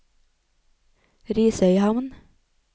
Risøyhamn